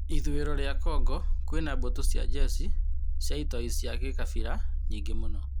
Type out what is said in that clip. Ithũĩro rĩa Kongo kwĩna mbũtũ cia njeci cia itoi cia gĩkabira nyingĩ mũno.